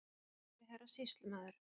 Kæri herra Sýslumaður.